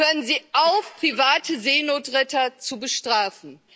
Hören Sie auf, private Seenotretter zu bestrafen!